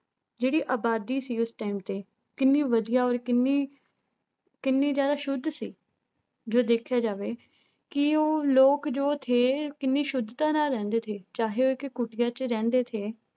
ਜਿਹੜੀ ਆਬਾਦੀ ਸੀ ਉਸ time ਤੇ ਕਿੰਨੀ ਵਧੀਆ ਔਰ ਕਿੰਨੀ ਕਿੰਨੀ ਜ਼ਿਆਦਾ ਸੁੱਧ ਸੀ ਜੋ ਦੇਖਿਆ ਜਾਵੇ ਕਿ ਉਹ ਲੋਕ ਜੋ ਥੇ ਕਿੰਨੀ ਸੁੱਧਤਾ ਨਾਲ ਰਹਿੰਦੇ ਥੇ ਚਾਹੇ ਉਹ ਇੱਕ ਕੁਟੀਆ ਚ ਰਹਿੰਦੇ ਥੇ